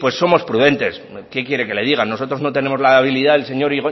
pues somos prudentes qué quiere que le diga nosotros no tenemos la habilidad del señor